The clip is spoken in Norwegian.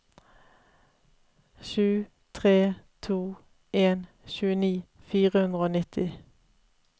sju tre to en tjueni fire hundre og nitti